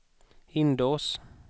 Hindås